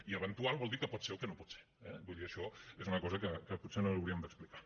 i eventual vol dir que pot ser o que no pot ser eh vull dir això és una cosa que potser no li hauríem d’explicar